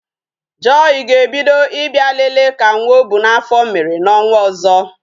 Joy ga-ebido Ị bịa lele ka nwa ọ bu n'afọ mere n'ọnwa ọzọ